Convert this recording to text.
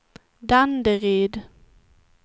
Danderyd